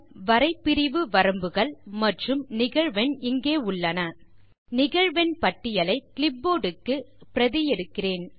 வரை பிரிவு வரம்புகள் மற்றும் நிகழ்வெண் இங்கே உள்ளன நிகழ்வெண் பட்டியலை கிளிப்போர்ட் க்கு பிரதி எடுக்கிறேன்